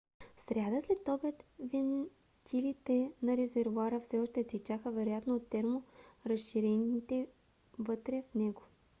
в сряда следобед вентилите на резервоара все още течаха вероятно от терморазширение вътре в него